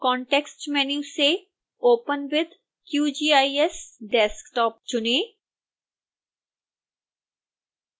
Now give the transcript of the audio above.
context menu से open with qgis desktop चुनें